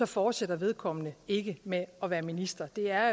fortsætter vedkommende ikke med at være minister det er